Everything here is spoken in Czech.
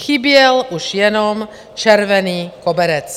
Chyběl už jenom červený koberec.